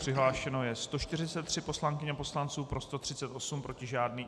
Přihlášeno je 143 poslankyň a poslanců, pro 138, proti žádný.